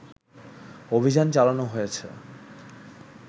অভিযান চালানো হয়েছে